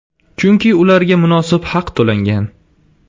Chunki ularga munosib haq to‘langan.